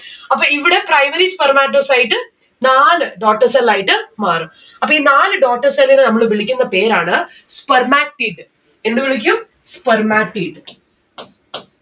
അപ്പൊ ഇവിടെ primary spermatocyte നാല് daughter cell ആയിട്ട് മാറും. അപ്പൊ ഈ നാല് daughter cell നെ നമ്മള് വിളിക്കുന്ന പേരാണ് spermatid എന്ത് വിളിക്കും spermatid